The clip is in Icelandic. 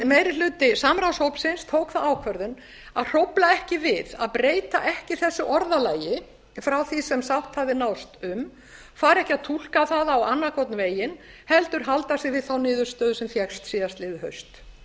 meiri hluti samráðshópsins tók þá ákvörðun að hrófla ekki við að breyta ekki þessu orðalagi frá því sem sátt hafði náðst um fara ekki að túlka það á annan hvorn veginn heldur halda sig við þá niðurstöðu sem fékkst síðastliðið haust